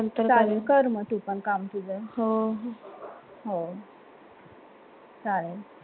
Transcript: चालेल कर मग तू काम तुझ